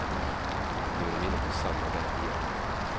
Nu är de inne på samma väg igen.